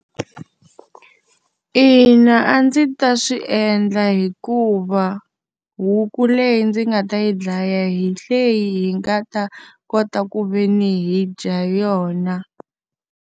Ina, a ndzi ta swi endla hikuva, huku leyi ndzi nga ta yi dlaya hi leyi hi nga ta kota ku ve ni hi dya yona.